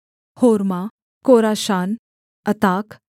होर्मा कोराशान अताक